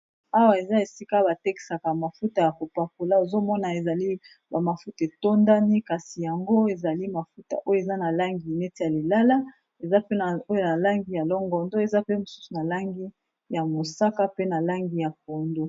Awa eza esika ba tekisaka mafuta ya ko pakola. Ozo mona ezali ba mafuta etondani. Kasi yango ezali mafuta oyo eza na langi neti ya lilala. Eza pe oyo na langi ya longondo. Eza pe mosusu na langi ya mosaka pe na langi ya pondu.